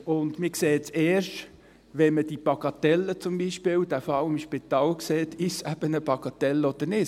Man sieht erst, wenn man die Bagatelle beziehungsweise den Fall im Spital sieht, ob es sich um eine Bagatelle handelt oder nicht.